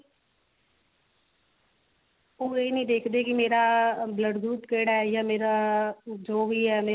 ਉਹ ਇਹ ਨੀ ਦੇਖਦੇ ਕੀ ਮੇਰਾ blood group ਕਿਹੜਾ ਯਾ ਮੇਰਾ ਜੋ ਵੀ ਹੈ